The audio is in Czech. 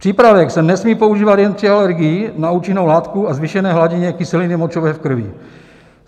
Přípravek se nesmí používat jen při alergii na účinnou látku a zvýšené hladině kyselině močové v krvi.